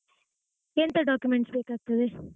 ಎಂತ documents ಬೇಕಾಗ್ತದೆ?